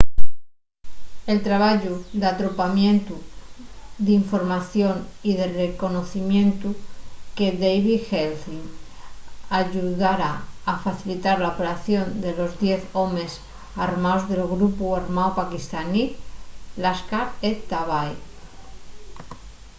el trabayu d’atropamientu d’información y de reconocimientu de david headley ayudara a facilitar la operación de los diez homes armaos del grupu armáu paquistanín laskhar-e-taiba